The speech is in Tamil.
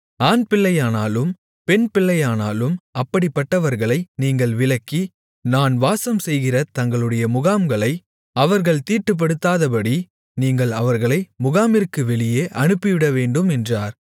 ஆண்பிள்ளையானாலும் பெண்பிள்ளையானாலும் அப்படிப்பட்டவர்களை நீங்கள் விலக்கி நான் வாசம்செய்கிற தங்களுடைய முகாம்களை அவர்கள் தீட்டுப்படுத்தாதபடி நீங்கள் அவர்களை முகாமிற்கு வெளியே அனுப்பிவிடவேண்டும் என்றார்